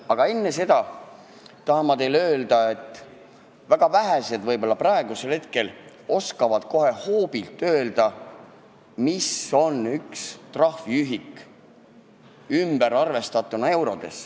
Aga enne seda tahan ma teile öelda, et väga vähesed võib-olla oskavad kohe hoobilt öelda, mis on üks trahviühik eurodesse arvestatuna.